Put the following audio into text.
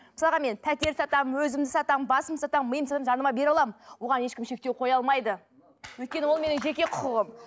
мысалға мен пәтер сатамын өзімді сатамын басымды сатамын миымды сатамын жарнама бере аламын оған ешкім шектеу қоя алмайды өйткені ол менің жеке құқығым